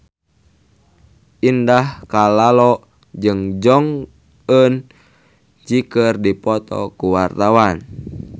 Indah Kalalo jeung Jong Eun Ji keur dipoto ku wartawan